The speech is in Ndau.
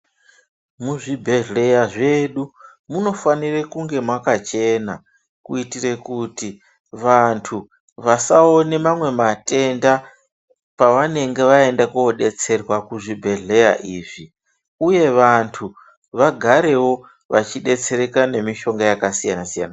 Muzvibhedhleya zvedu munofanire kunge makachena kuitira kuti vantu vasaone mamwe matenda pavanenge vaenda kodetserwa kuzvibhedhleya izvi uye vantu vagarewo vachidetsereka nemishonga yakasiyana siyana.